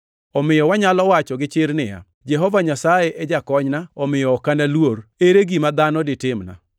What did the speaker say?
Omiyo wanyalo wacho gi chir niya, “Jehova Nyasaye e jakonyna omiyo ok analuor, ere gima dhano ditimna?” + 13:6 \+xt Zab 118:6,7\+xt*